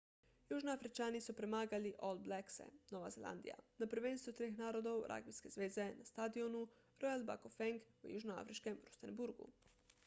južnoafričani so premagali all blackse nova zelandija na prvenstvu treh narodov ragbijske zveze na stadionu royal bafokeng v južnoafriškem rustenburgu